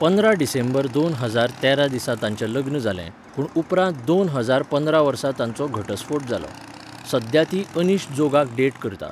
पंदरा डिसेंबर दोन हजार तेरा दिसा तांचें लग्न जालें, पूण उपरांत दोन हजार पंदरा वर्सा तांचो घटस्फोट जालो.सध्या ती अनीश जोगाक डेट करता.